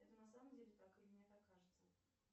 это на самом деле так или мне так кажется